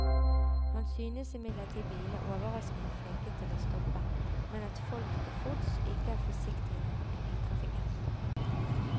Han synes imidlertid bilene er overraskende flinke til å stoppe, men at folk til fots ikke er forsiktige nok i trafikken.